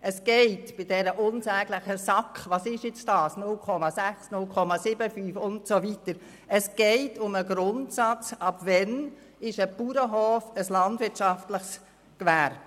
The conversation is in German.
Bei der Frage, was denn diese unsägliche SAK nun sei, 0,6 oder 0,75 und so weiter, geht es um den Grundsatz, ab wann ein Bauernhof ein landwirtschaftliches Gewerbe ist.